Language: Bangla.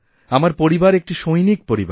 আমার পরিবারএকটি সৈনিক পরিবার